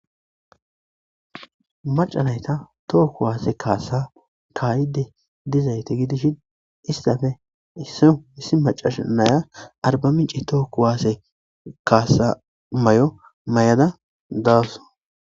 maca nayta toho kuwaase kaasa kaayide dizayte gidishin istafe issoy issi macasha naya arbamice toho kuwaase kaasa may7o may7ada daawus